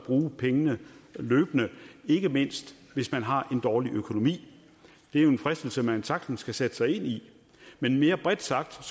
bruge pengene løbende ikke mindst hvis man har en dårlig økonomi det er jo en fristelse man sagtens kan sætte sig ind i men mere bredt sagt